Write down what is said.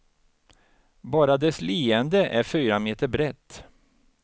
Bara dess leende är fyra meter brett.